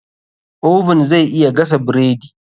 Oven zai iya gasa bredi.